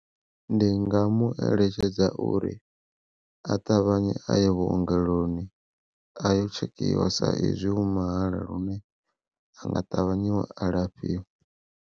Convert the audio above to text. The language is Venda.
Ndi nga mueletshedza uri a ṱavhanye a ye vhuongeloni ayo tshekhiwa sa izwi hu mahala lune anga ṱavhanye alafhiwa.